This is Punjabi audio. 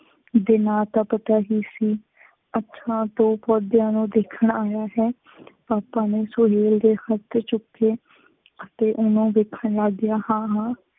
ਦੇ ਨਾਂ ਤਾਂ ਪਤਾ ਹੀ ਸੀ, ਅੱਛਾ, ਤੂੰ ਪੌਦਿਆਂ ਨੂੰ ਦੇਖਣ ਆਇਆ ਹੈਂ, ਪਾਪਾ ਨੇ ਸੁਹੇਲ ਤੇ ਹੱਥ ਚੁੱਕੇ ਅਤੇ ਉਹਨੂੰ ਦੇਖਣ ਲੱਗ ਗਿਆ, ਹਾਂ, ਹਾਂ,